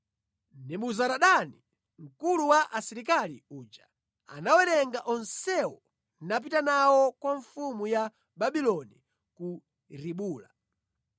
Nebuzaradani mkulu wa asilikali uja anawatenga onsewo napita nawo kwa mfumu ya Babuloni ku Ribula.